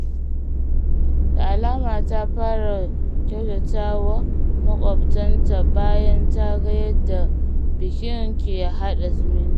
Da alama ta fara kyautata wa makwabtanta bayan ta ga yadda bikin ke haɗa zumunci.